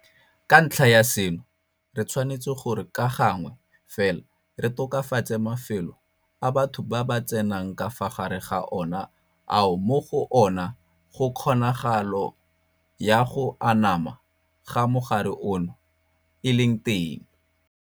Ka ntlha ya seno re tshwanetse gore ka gangwe fela re tokafatse mafelo a batho ba tsenang ka fa gare ga ona ao mo go ona kgonagalo ya go anama ga mogare ono e leng teng.